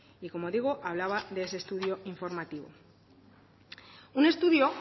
y como digo hablaba de ese estudio informativo un estudio